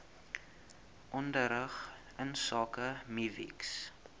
onderrig insake mivvigs